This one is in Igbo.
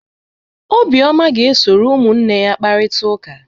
Obioma ga-esoro ụmụnne ya kparịta ụka.